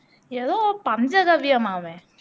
ஏதோ பஞ்சகவ்வியமாமே